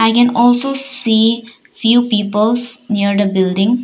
I can also see few peoples near the building.